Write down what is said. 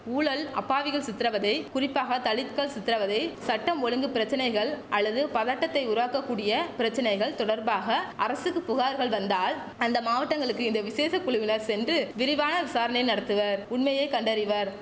ஊழல் அப்பாவிகள் சித்திரவதை குறிப்பாக தலித்கள் சித்திரவதை சட்டம் ஒழுங்கு பிரச்சனைகள் அல்லது பதட்டத்தை உருவாக்கக் கூடிய பிரச்சனைகள் தொடர்பாக அரசுக்கு புகார்கள் வந்தால் அந்த மாவட்டங்களுக்கு இந்த விசேஷ குழுவினர் சென்று விரிவான விசாரணை நடத்துவர் உண்மையை கண்டறிவர்